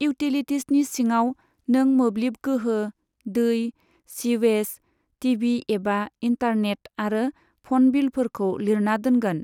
इउटिलिटीजनि सिङाव नों मोब्लिब गोहो, दै, सीवेज, टिभि एबा इन्टारनेट आरो फ'न बिलफोरखौ लिरना दोनगोन।